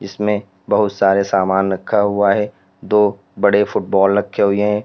इसमें बोहुत सारे सामान रखा हुआ है। दो बड़े फुटबॉल रखे हुये ऐं ।